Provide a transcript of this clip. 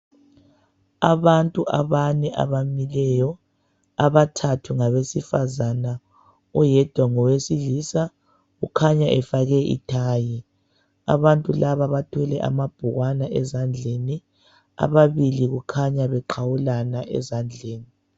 Abantu abane abamileyo abathathu ngabesifazana oyedwa ngowesilisa ukhanya efake ithayi abantu laba bathwele amabhukwana ezandleni ababili kukhanya beqhawulana ezandleni.